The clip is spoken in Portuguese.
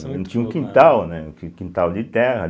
A gente tinha um quintal, né, um quin quintal de terra.